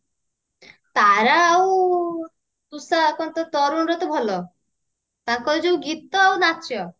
ତାରା ଆଉ ତୁଷାର କଣ ତ ତରୁଣର ତ ଭଲ ତାଙ୍କର ଯୋଉ ଗୀତ ଆଉ ନାଚ